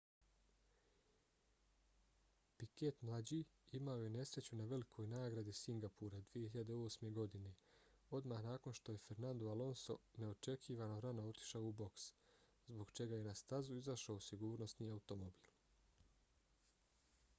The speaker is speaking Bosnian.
piquet mlađi imao je nesreću na velikoj nagradi singapura 2008. godine odmah nakon što je fernando alonso neočekivano rano otišao u boks zbog čega je na stazu izašao sigurnosni automobil